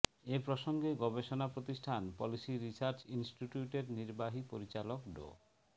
এ প্রসঙ্গে গবেষণা প্রতিষ্ঠান পলিসি রিসার্চ ইনস্টিটিউটের নির্বাহী পরিচালক ড